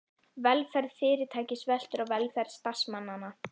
Velferð fyrirtækis veltur á velferð starfsmannanna.